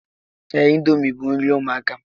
Ee, índomi bu nri ụmụaka